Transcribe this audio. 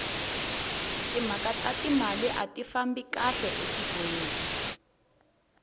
timhaka ta timali ati fambi kahle etikweni